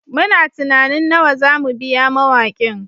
Muna tunanin nawa za mu biya mawakin